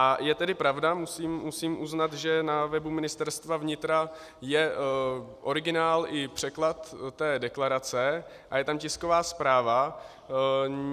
A je tedy pravda, musím uznat, že na webu Ministerstva vnitra je originál i překlad té deklarace a je tam tisková zpráva.